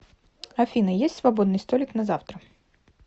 афина есть свободный столик на завтра